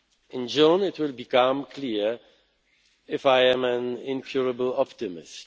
In June it will become clear if I am an incurable optimist.